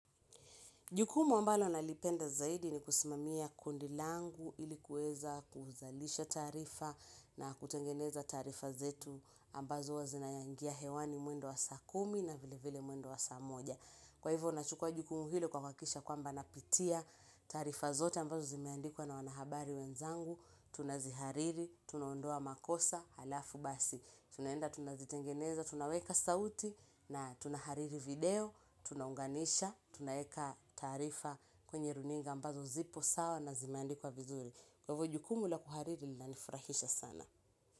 Jukumu ambalo nalipenda zaidi ni kusimamia kundi langu ili kuweza kuzalisha taarifa na kutengeneza taarifa zetu ambazo huwa zinaingia hewani mwendo wa saa kumi na vilevile mwendo wa saa moja. Kwa hivyo nachukua jukumu hilo kuhakikisha kwamba napitia taarifa zote ambazo zimeandikwa na wanahabari wenzangu, tunazihariri, tunaondoa makosa, halafu basi. Tunaenda tunazitengeneza, tunaweka sauti na tunahariri video, tunaunganisha, tunaweka taarifa kwenye runinga ambazo zipo sawa na zimeandikwa vizuri. Kwa hivyo jukumu la kuhariri linanifurahisha sana.